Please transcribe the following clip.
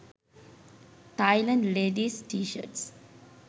thailand leadies t shirts